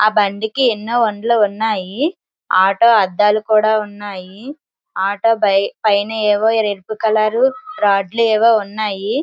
ఆ బండికి ఎన్నో ఉన్నాయి. ఆటో అద్దాలు కూడా ఉన్నాయి. ఆటో పైన ఏవో రెడ్ కలరు రాడ్లు ఏవో ఉన్నాయి.